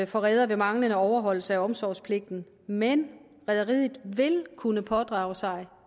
for redere ved manglende overholdelse af omsorgspligten men rederiet vil kunne pådrage sig